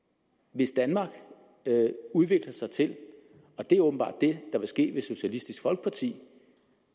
hvis danmark udvikler sig til og det er åbenbart det der vil ske hvis socialistisk folkeparti